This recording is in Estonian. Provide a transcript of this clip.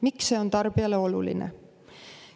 Miks see on tarbijale oluline?